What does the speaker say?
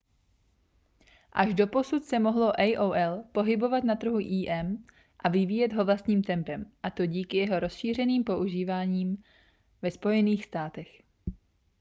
až doposud se mohlo aol pohybovat na trhu im a vyvíjet ho vlastním tempem a to díky jeho rozšířeném používání ve spojených státech